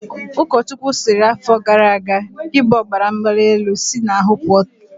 Ụkọchukwu sịrị afọ gara aga"Gị bụ ọbaramgbalịelu, si n'ahụ pụọ ugbua!